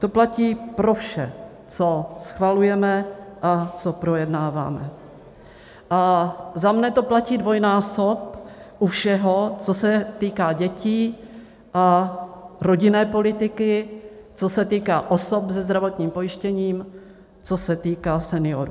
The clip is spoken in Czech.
To platí pro vše, co schvalujeme a co projednáváme, a za mě to platí dvojnásob u všeho, co se týká dětí a rodinné politiky, co se týká osob se zdravotním pojištěním, co se týká seniorů.